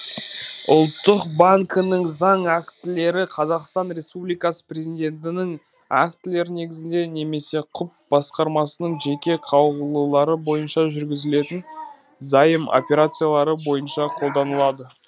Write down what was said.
ұлттық банкінің заң актілері қазақстан республикасы президентінің актілері негізінде немесе құб басқармасының жеке қаулылары бойынша жүргізілетін заем операциялары бойынша қолданылады